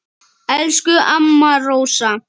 Elsku amma Rósa.